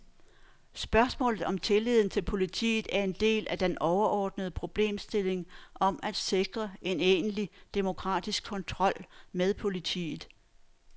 Spørgsmålet om tilliden til politiet er en del af den overordnede problemstilling om at sikre en egentlig demokratisk kontrol med politiet.